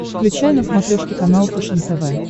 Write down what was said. включай на смотрешке канал фэшен тв